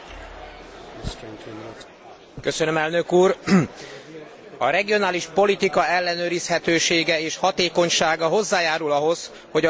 A regionális politika ellenőrizhetősége és hatékonysága hozzájárul ahhoz, hogy az EU állampolgárainak gazdasági, szociális helyzete biztosabbá váljon.